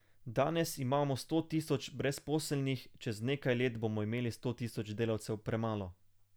Danes imamo sto tisoč brezposelnih, čez nekaj let bomo imeli sto tisoč delavcev premalo.